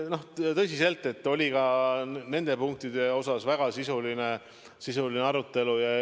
Ma ütlen tõsiselt, et ka nende punktide üle oli väga sisuline arutelu.